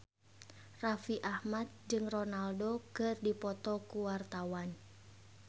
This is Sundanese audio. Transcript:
Raffi Ahmad jeung Ronaldo keur dipoto ku wartawan